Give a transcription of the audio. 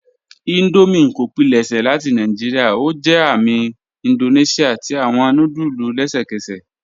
Indomie kò pílẹ̀ṣẹ́ láti Naijíríà; ó jẹ́ àmì Índóníṣíà tí awọn núdùlù lẹ́sẹkẹ́sẹ́.